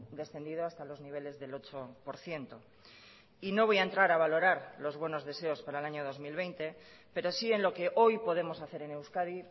descendido hasta los niveles del ocho por ciento y no voy a entrar a valorar los buenos deseos para el año dos mil veinte pero sí en lo que hoy podemos hacer en euskadi